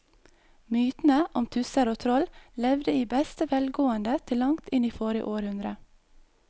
Mytene om tusser og troll levde i beste velgående til langt inn i forrige århundre.